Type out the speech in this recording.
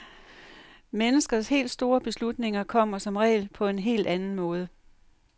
Menneskers helt store beslutninger kommer som regel på en helt anden måde.